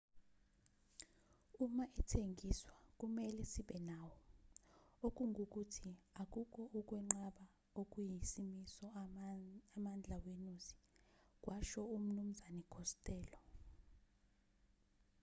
uma ethengiswa kumelwe sibe nawo okungukuthi akukho ukwenqaba okuyisimiso amandla wenuzi kwasho umnu khostello